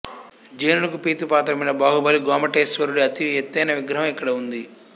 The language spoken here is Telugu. జైనులకు ప్రీతిపాత్రమైన బాహుబలి గోమఠేశ్వరుడి అతి ఎత్తైన విగ్రహం ఇక్కడ ఉంది